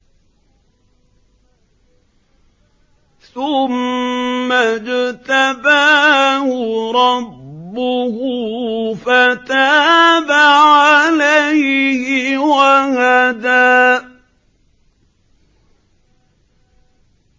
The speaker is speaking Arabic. ثُمَّ اجْتَبَاهُ رَبُّهُ فَتَابَ عَلَيْهِ وَهَدَىٰ